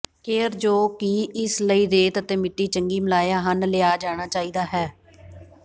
care ਜੋ ਕਿ ਇਸ ਲਈ ਰੇਤ ਅਤੇ ਮਿੱਟੀ ਚੰਗੀ ਮਿਲਾਇਆ ਹਨ ਲਿਆ ਜਾਣਾ ਚਾਹੀਦਾ ਹੈ